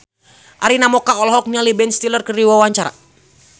Arina Mocca olohok ningali Ben Stiller keur diwawancara